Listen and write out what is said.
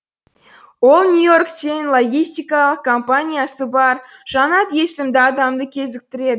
ол нью и орктен логистикалық компаниясы бар жанат есімді адамды кезіктіреді